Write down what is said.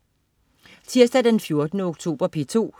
Tirsdag den 14. oktober - P2: